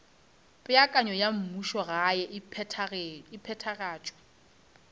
peakanyo ya mmušogae e phethagatšwa